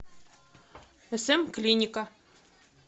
см клиника